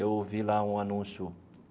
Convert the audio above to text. Eu ouvi lá um anúncio.